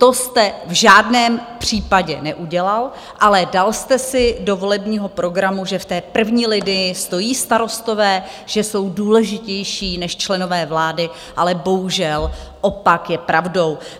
To jste v žádném případě neudělal, ale dal jste si do volebního programu, že v té první linii stojí starostové, že jsou důležitější než členové vlády, ale bohužel opak je pravdou.